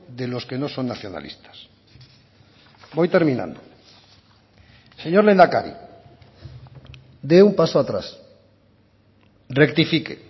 de los que no son nacionalistas voy terminando señor lehendakari de un paso atrás rectifique